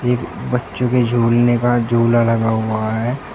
ये बच्चो के झूलने का झूला लगा हुआ है।